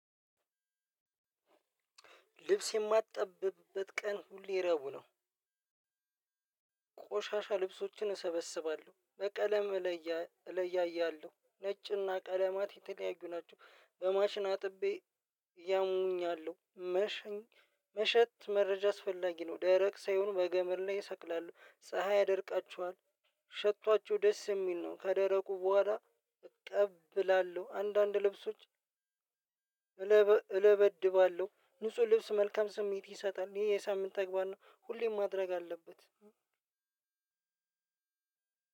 ልብስ የማትጠብብበት ቀን ሁሌ ረቡዕ ነው። ቆሻሻ ልብሶችን እሰበስባለሁ በቀለም እለያያለሁ ነጭና ቀለማት የተለያዩ ናቸው። በማሽን አጥቤ ያሙኛሉ መሸኝ መሸት መረጃ አስፈላጊ ነው። ደረቅ ሳይሆን በገመድ ላይ እሰቅላለው ፀሀይ ያደርቃችኋል። ሽቷቸው ደስ የሚል ነው። ከደረቁ በኋላ። እቀብላለሁ አንዳንድ ልብሶች። እለበድባለሁ ንጹህ ልብስ መልካም ስሜት ይሰጣል ይሄ የሳምንት ተግባር ነው። ሁሌም ማድረግ አለበት።